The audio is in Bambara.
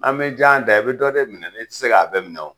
An bi jan da, i bi dɔ de minɛ i ti se ka bɛɛ minɛ wo.